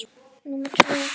Númer tvö og þrjú.